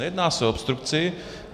Nejedná se o obstrukci.